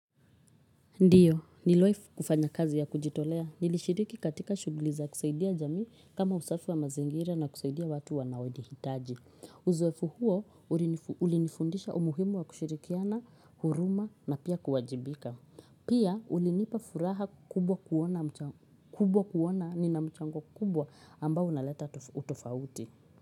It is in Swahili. Ndiyo, nilowahi kufanya kazi ya kujitolea. Nilishiriki katika shuguli za kusaidia jami kama usafi wa mazingira na kusaidia watu wanawoni hitaji. Uzoefu huo ulinifundisha umuhimu wa kushirikiana, huruma na pia kuwajibika. Pia ulinipa furaha kubwa kuona nina mchango kubwa ambao unaleta utofauti.